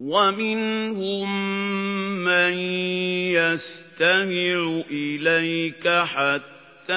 وَمِنْهُم مَّن يَسْتَمِعُ إِلَيْكَ حَتَّىٰ